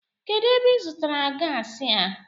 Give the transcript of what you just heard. Kedụ ebe ịzụtara gaasi a?